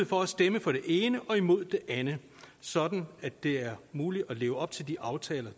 for at stemme for det ene og imod det andet sådan at det er muligt at leve op til de aftaler